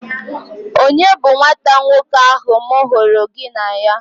Onye bu nwata nwoke ahụ m hụrụ gị na ya?